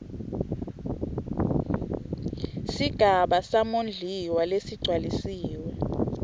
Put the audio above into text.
sigaba samondliwa lesigcwalisiwe